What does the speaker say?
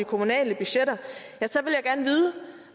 kommunale budgetter